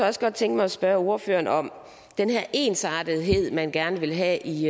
også godt tænke mig at spørge ordføreren om den her ensartethed man gerne vil have i